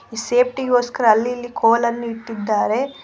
Safety ಗೋಸ್ಕರ ಅಲ್ಲಿ ಇಲ್ಲಿ ಕೋಲ್ ಅನ್ನು ಇಟ್ಟಿದ್ದಾರೆ.